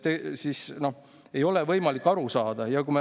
Nii et ei ole võimalik aru saada.